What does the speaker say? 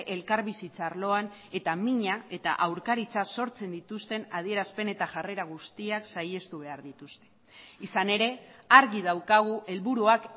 elkarbizitza arloan eta mina eta aurkaritza sortzen dituzten adierazpen eta jarrera guztiak saihestu behar dituzte izan ere argi daukagu helburuak